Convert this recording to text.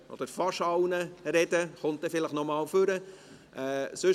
Er kommt dann vielleicht noch einmal nach vorne.